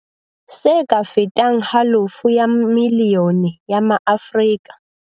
Se ka fetang halofo ya milione ya maAfrika